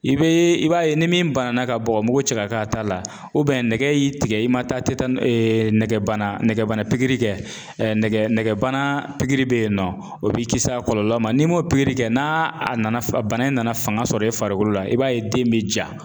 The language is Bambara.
I bɛ i b'a ye ni min banana ka bɔgɔmugu cɛ ka k'a ta la nɛgɛ y'i tigɛ i ma taa tɛ taa nɛgɛbana nɛgɛbana kɛ nɛgɛbana nɛgɛbana bɛyinɔ o b'i kisi a kɔlɔlɔ n'i m'o kɛ n'a a nana bana in nana fanga sɔrɔ e farikolo la i b'a ye den bɛ ja.